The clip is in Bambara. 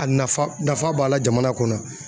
A nafa nafa b'a la jamana kɔnɔ.